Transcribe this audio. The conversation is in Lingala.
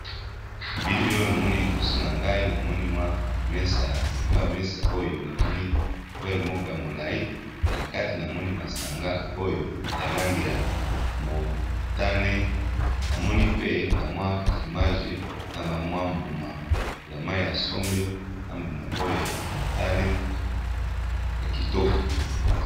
Bilili oyo namoni liboso na ngai namoni mwa mesa likolo ya mesa oyo namoni lu vere moko ya molai na kati namoni masanga oyo ya lange ya motane, namoni pe bamwa fromage na bamwa mbuma ya mai ya sombe na mbuma oyo ya motane ya kitoko.